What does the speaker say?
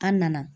An nana